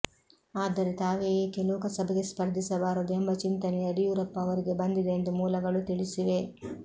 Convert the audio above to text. ಆದರೆ ತಾವೇ ಏಕೆ ಲೋಕಸಭೆಗೆ ಸ್ಪರ್ಧಿಸಬಾರದು ಎಂಬ ಚಿಂತನೆ ಯಡಿಯೂರಪ್ಪ ಅವರಿಗೆ ಬಂದಿದೆ ಎಂದು ಮೂಲಗಳು ತಿಳಿಸಿವೆ